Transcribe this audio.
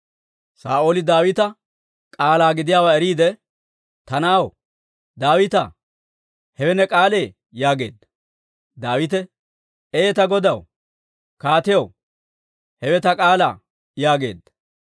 Saa'ooli Daawita k'aalaa gidiyaawaa eriide, «Ta na'aw Daawitaa, hewe ne k'aalee?» yaageedda. Daawite, «Ee; ta godaw, kaatiyaw, hewe ta k'aalaa» yaageedda.